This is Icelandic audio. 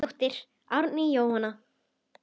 Þín dóttir, Árný Jóna.